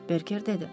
Berker dedi.